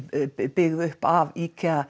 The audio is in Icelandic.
byggð upp af